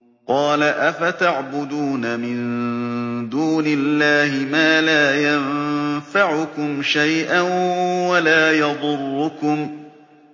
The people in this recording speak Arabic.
قَالَ أَفَتَعْبُدُونَ مِن دُونِ اللَّهِ مَا لَا يَنفَعُكُمْ شَيْئًا وَلَا يَضُرُّكُمْ